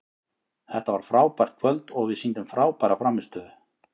Þetta var frábært kvöld og við sýndum frábæra frammistöðu.